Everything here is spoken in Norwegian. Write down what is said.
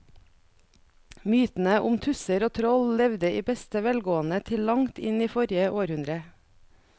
Mytene om tusser og troll levde i beste velgående til langt inn i forrige århundre.